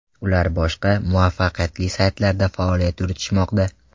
Ular boshqa, muvaffaqiyatli saytlarda faoliyat yuritishmoqda.